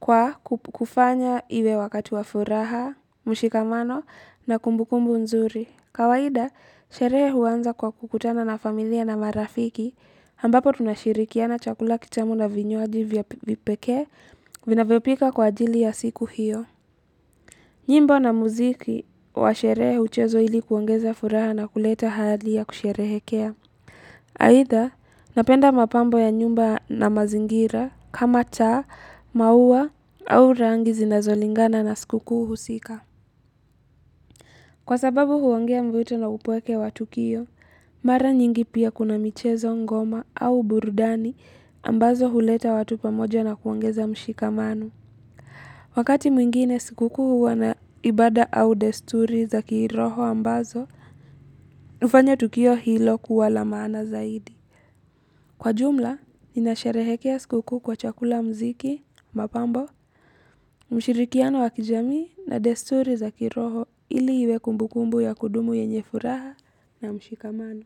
kwa kufanya iwe wakati wa furaha, mshikamano na kumbukumbu nzuri. Kawaida, sherehe huanza kwa kukutana na familia na marafiki, ambapo tunashirikiana chakula kitamu na vinywaji vya vipekee, vinavyopika kwa ajili ya siku hiyo. Nyimbo na muziki wa sherehe huchezwa ili kuongeza furaha na kuleta hali ya kusherehekea. Aitha, napenda mapambo ya nyumba na mazingira kama cha, maua au rangi zinazolingana na sikukuu husika Kwa sababu huongea mvito na upweke wa tukio Mara nyingi pia kuna michezo ngoma au burudani ambazo huleta watu pamoja na kuongeza mshikamano Wakati mwingine sikukuu huwa na ibada au desturi za kiroho ambazo hufanya tukio hilo kuwa la maana zaidi kwa jumla, ninasherehekea sikukuu kwa chakula, mziki, mapambo, mshirikiano wa kijamii na desturi za kiroho ili iwe kumbukumbu ya kudumu yenye furaha na mshikamano.